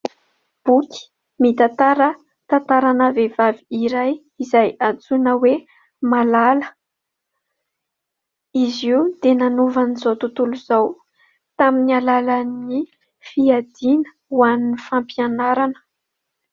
Boky mitantara tantarana vehivavy iray izay antsoina hoe Malala, izy io dia nanovan'izao tontolo izao tamin'ny alalan'ny fiadiana ho an'ny fampianarana.